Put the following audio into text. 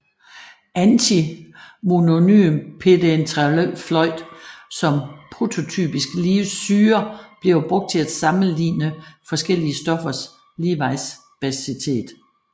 Antimonypentafluorid som prototypisk Lewis syre bliver brugt til at sammeligner forskellige stoffers Lewis basitet